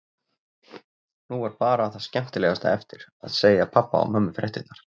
Nú var bara það skemmtilegasta eftir: Að segja pabba og mömmu fréttirnar.